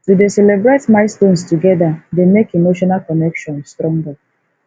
to dey celebrate milestones together dey make emotional connection stronger